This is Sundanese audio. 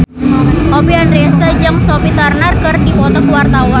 Oppie Andaresta jeung Sophie Turner keur dipoto ku wartawan